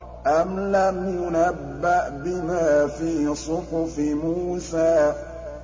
أَمْ لَمْ يُنَبَّأْ بِمَا فِي صُحُفِ مُوسَىٰ